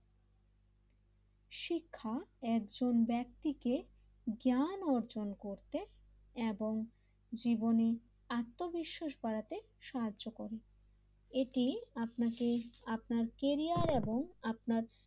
শিক্ষা একজন ব্যক্তিকে জ্ঞান অর্জন করতে এবং জীবনের আত্মবিশ্বাস বাড়াতে সাহায্য করে এটি আপনাকে আপনার কেরিয়ার এবং আপনার,